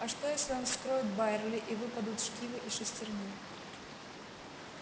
а что если он вскроет байерли и выпадут шкивы и шестерни